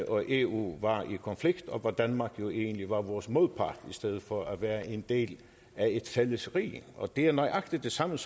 og eu var i konflikt og hvor danmark egentlig var vores modpart i stedet for at være en del af et fælles rige det er nøjagtig det samme